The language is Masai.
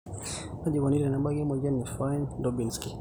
Kaji eikoni tenebaki emoyian e Fine Lubinsky?